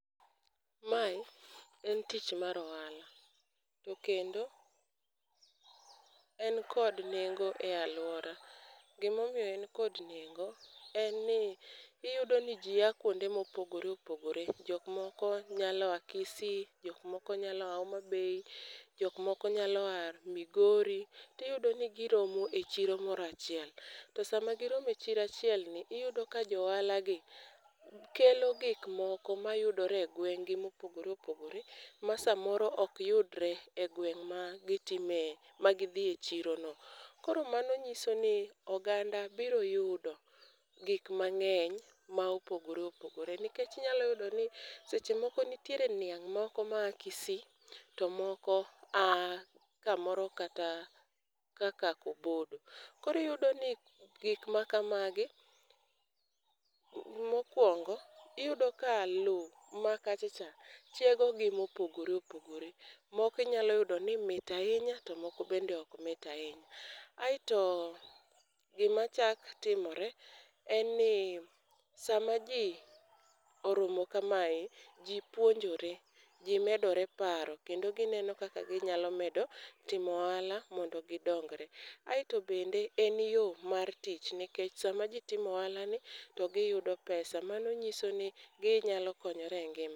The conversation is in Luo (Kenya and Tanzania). Mae en tich mar ohala, to kendo en kod nengo ei alwora. Gima omiyo en kod nengo, en ni iyudo ni ji a kuonde mopogore opogore. Jok moko nyalo a Kisii, jok moko nyalo a Homabay, jok moko nyalo a Migori, tiyudo ni gi romo e chiro moro achiel. To sama gi rome chiro achiel ni, iyodo ka johala gi, kelo gik moko ma yudore e gweng'gi mopogore opogore, masamoro ok yudre egweng' ma gitime ma gidhi e chirono. Koro mano nyiso ni oganda biro yudo gik mang'eny ma opogore opogore. Nikech inyalo yudo ni sechemoko nitiere niang' moko ma a Kisii, to moko a kamoro kata kaka Kobodo. Kor iyudo ni gikma kamagi, mokuongo, iyudo ka lowo makacha cha chiego gi mopogore opogore. Moko inyalo yudo ni mit ahinya to moko bende ok mit ahinya. Aeto gima chak timore en ni sama ji oromo kamae, ji puonjore, ji medore paro kendo gineno kaka ginyalo medo timo ohala mondo gidong'ore. Aeto bende en yo mar tich ni kech sama ji timo ohalani to gi yudo pesa, mano nyiso ni ginyalo konyore e ngima.